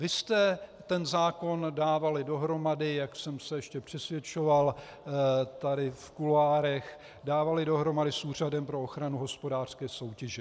Vy jste ten zákon dávali dohromady, jak jsem se ještě přesvědčoval tady v kuloárech, dávali dohromady s Úřadem pro ochranu hospodářské soutěže.